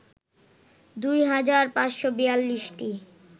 ২ হাজার ৫৪২টি